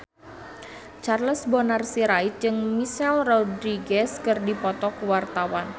Charles Bonar Sirait jeung Michelle Rodriguez keur dipoto ku wartawan